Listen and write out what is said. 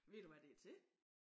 Ved du hvad det til?